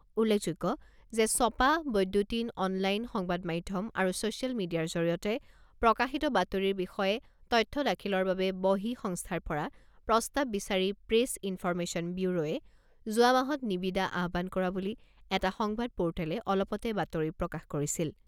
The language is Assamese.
উল্লেখযোগ্য যে ছপা, বৈদ্যুতিন, অনলাইন, সংবাদ মাধ্যম আৰু ছ'চিয়েল মিডিয়াৰ জৰিয়তে প্ৰকাশিত বাতৰিৰ বিষয়ে তথ্য দাখিলৰ বাবে বহিঃসংস্থাৰ পৰা প্ৰস্তাৱ বিচাৰি প্ৰেছ ইনফৰমেশ্যন ব্যুৰোৱে যোৱা মাহত নিবিদা আহ্বান কৰা বুলি এটা সংবাদ পোৰ্টেলে অলপতে বাতৰি প্ৰকাশ কৰিছিল।